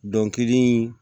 Dɔnkili